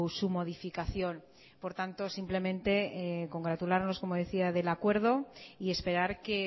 su modificación por tanto simplemente congratularnos como decía del acuerdo y esperar que